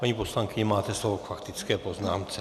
Paní poslankyně, máte slovo k faktické poznámce.